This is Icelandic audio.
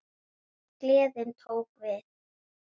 En gleðin tók við.